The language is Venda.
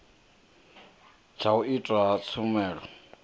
tsha u itwa ha tshumelo